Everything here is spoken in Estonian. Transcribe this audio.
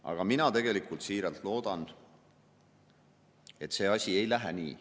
Aga mina tegelikult siiralt loodan, et see ei lähe nii.